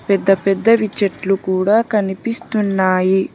పెద్ద పెద్దవి చెట్లు కూడా కనిపిస్తున్నాయి.